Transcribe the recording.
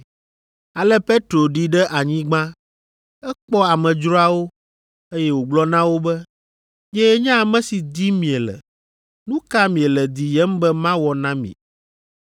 Ale Petro ɖi ɖe anyigba. Ekpɔ amedzroawo, eye wògblɔ na wo be, “Nyee nye ame si dim miele. Nu ka miele diyem be mawɔ na mi?”